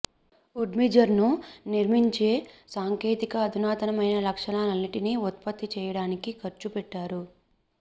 వుడ్మిజర్ను నిర్మించే సాంకేతిక అధునాతనమైన లక్షణాలన్నింటినీ ఉత్పత్తి చేయడానికి ఖర్చు పెట్టారు